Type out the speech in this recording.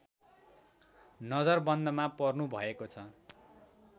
नजरबन्दमा पर्नुभएको छ